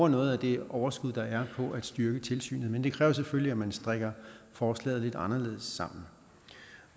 noget af det overskud der er på at styrke tilsynet men det kræver selvfølgelig at man strikker forslaget lidt anderledes sammen